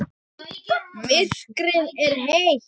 Myrkrið er heitt.